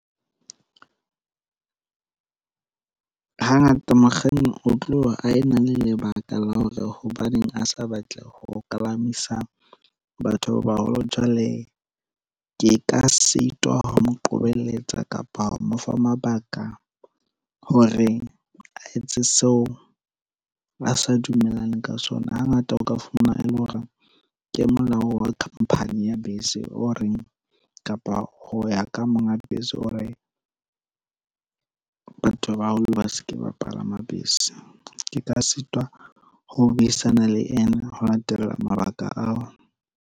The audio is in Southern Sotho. Hangata mokganni o tlo a ena le lebaka la hore hobaneng a sa batle ho kalamisa batho ba baholo. Jwale ke ka sitwa ho mo qobelletse kapa mo fa mabaka hore a etse seo a sa dumellane ka sona. Hangata o ka fumana e le hore ke molao wa khampani ya bese o reng kapa ho ya ka monga dibese, O re batho ba baholo ba se ke ba palama bese. Ke ka sitwa ho buisana le ena ho latela mabaka ao.